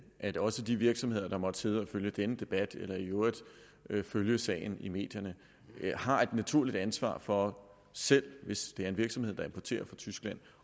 at også de virksomheder der måtte sidde og følge denne debat eller i øvrigt følge sagen i medierne har et naturligt ansvar for selv hvis det er en virksomhed der importerer fra tyskland